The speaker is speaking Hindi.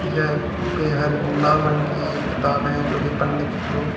यह लाल रंग की एक किताब है जो कि पंडित लोग--